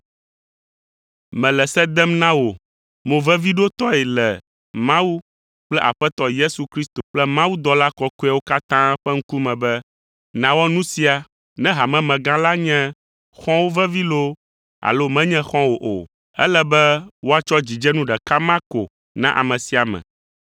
Mele se dem na wò moveviɖotɔe le Mawu kple Aƒetɔ Yesu Kristo kple mawudɔla kɔkɔeawo katã ƒe ŋkume be nàwɔ nu sia ne hamemegã la nye xɔ̃wò vevi loo alo menye xɔ̃wò o. Ele be woatsɔ dzidzenu ɖeka ma ko na ame sia ame.